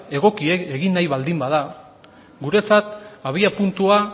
egokia egin nahi baldin bada guretzat abiapuntua